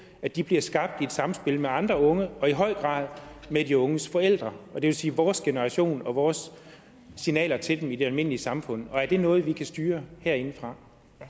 at de bliver skabt i et samspil med andre unge og i høj grad med de unges forældre og det vil sige vores generation og vores signaler til dem i det almindelige samfund og er det noget vi kan styre herindefra